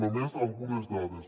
només algunes dades